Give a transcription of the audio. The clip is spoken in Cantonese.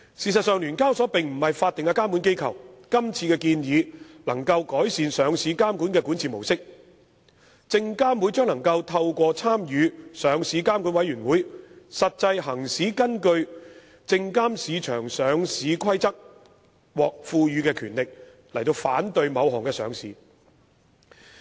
事實上，聯交所並非法定監管機構，這次建議能夠改善上市監管的管治模式，證監會可透過參與上市監管委員會，實際行使根據《證券及期貨規則》獲賦予的權力反對某項上市。